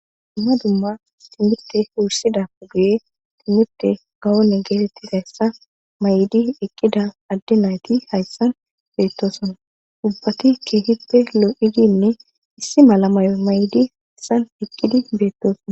dumma dumma timirte wuursidappe guye timirte gawone geetettizassa mayidi eqqida adde nayti hayssan beettosona ubbati keehippe lo'idinne issi mala mayo maydi hayssan eqqidi beettoosona